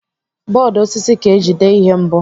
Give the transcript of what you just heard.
Bọọdụ osisi ka eji dee ihe mbụ.